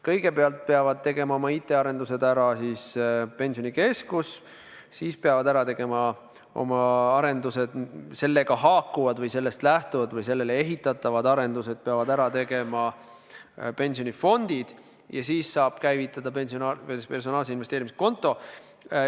Kõigepealt peab oma IT-arendused ära tegema Pensionikeskus, siis tuleb ära teha Pensionikeskuse lahendusega haakuvad või sellest lähtuvad või sellele ehitatavad arendused pensionifondides ja seejärel saab käivitada personaalse investeerimiskonto.